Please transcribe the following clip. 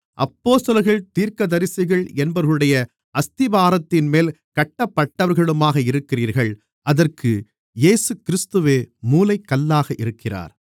அப்போஸ்தலர்கள் தீர்க்கதரிசிகள் என்பவர்களுடைய அஸ்திபாரத்தின்மேல் கட்டப்பட்டவர்களுமாக இருக்கிறீர்கள் அதற்கு இயேசுகிறிஸ்துவே மூலைக்கல்லாக இருக்கிறார்